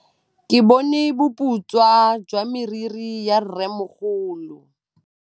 Ke bone boputswa jwa meriri ya rrêmogolo.